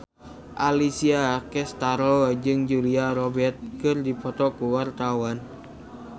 Alessia Cestaro jeung Julia Robert keur dipoto ku wartawan